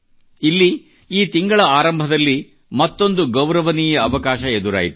ಇಲ್ಲಿ ಈ ತಿಂಗಳ ಆರಂಭದಲ್ಲಿ ಮತ್ತೊಂದು ಗೌರವನೀಯ ಅವಕಾಶ ಎದುರಾಯಿತು